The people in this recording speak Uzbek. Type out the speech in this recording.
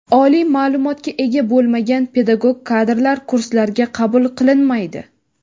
Oliy ma’lumotga ega bo‘lmagan pedagog kadrlar kurslarga qabul qilinmaydi.